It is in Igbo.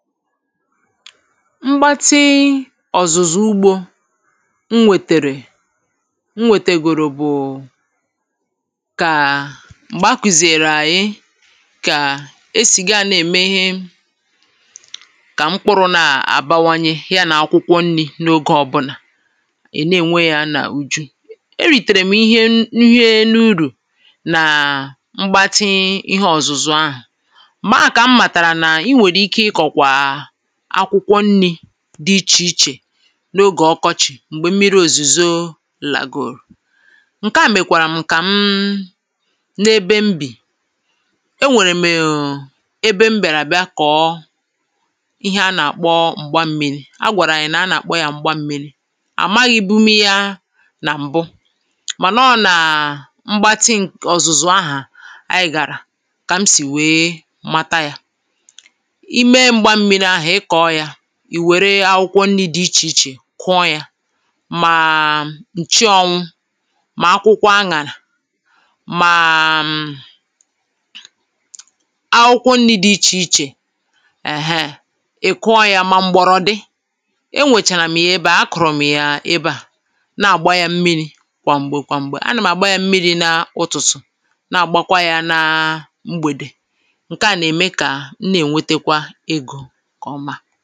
mgbati ọ̀zụ̀zụ̀ ugbō m wètèrè m wètèrègò bụ̀ kaà m̀gbè a kùzìèrè àyị kàa e sì ga nà èmè ihe kà mkpụrụ nà àbanwanye ya na akwụkwọ nrị̄ n’oge ọbụ̀là è na ènwe ya nà uju e rìtèrè m ihe n..ihe n’urù nàa mgbàtii ihe ọ̀zụ̀zụ̀ ahụ̀ m̀gbè ahụ̀ kà m màtàrà nà i nwèrè ike ị kọ̀kwà akwụkwọ nnị̄ dị ichè ichè n’ogè ọkọchị̀ m̀gbè mmịrị òzùzō là gòrò ǹkẹ̀ a mèkwàrà m kà m n’ebe m bì ẹ nwèrè m̀ è un ebe m̀ bị̀arà bịa kọ ihe a nà àkpọ m̀gba mmiri a gwàrà ànyị nà a nà àkpọ ya m̀gba mmiri àmaghị bum ya nà m̀bu mà nà ọ nàa mgbati ǹk..ọ̀zụ̀zụ̀ ahà anyị gàrà kà m sì wee mata ya i me m̀gba mmiri ahù ị kọ̀ọ ya ì wèrè akwụkwọ nrī dị ichè ichè kụọ ya màaa ǹchị anwụ mà akwụkwọ añàrà màaa akwụkwọ nrị̄ dị ichè ichè ẹ̀hẹ́ ì kụọ ya mà m̀gbọ̀rọ̀dị e nwèchàrà m̀ ya ebe à à kọ̀rọ̀ m̀ ya ebe à nà àgba ya mmiri kwà m̀gbè kwà m̀gbè a nàm àgba yam miri nā ụtụtụ nà àgbakwa ya nāa mgbèdè ǹkè a nà èmè kà m nà è nwetekwa egō nke ọma